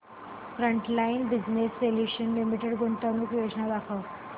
frontline Business Solutions Limited गुंतवणूक योजना दाखव